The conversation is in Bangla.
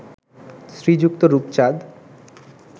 শ্রীযুক্ত রূপচাঁদ